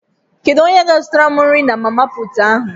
Kedu onye ga zụtara m nri na mama puutụ ahu?